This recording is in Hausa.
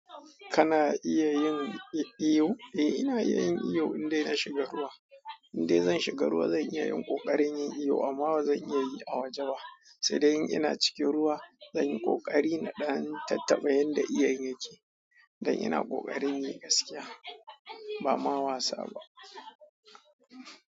Kana iya yin iyo? Eh ina iya yin iyo idan ina shiga ruwa. Indai zan shiga ruwa zan iya yin ƙoƙarin yin iyo amma bazan iya yi a waje ba. Sai dai in ina cikin ruwa zan yi kokari na ɗan tattaɓa yadda iyon yake. Dan ina kokarin yi gaskiya ba ma wasa ba.